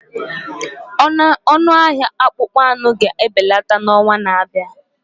Ọnụ ahịa akpụkpọ anụ ga-ebelata n'ọnwa na-abịa